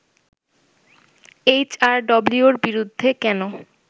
H R ডব্লিউর বিরুদ্ধে কেন